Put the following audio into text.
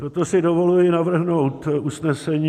Proto si dovoluji navrhnout usnesení: